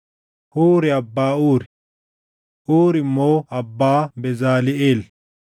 Huuri abbaa Uuri; Uuri immoo abbaa Bezaliʼeel.